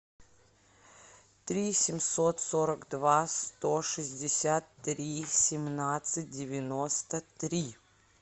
три семьсот сорок два сто шестьдесят три семнадцать девяносто три